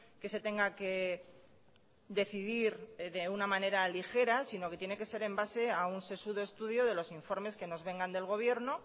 que se tenga que decidir de una manera ligera sino que tiene que ser en base a un sesudo estudio de los informes que nos vengan del gobierno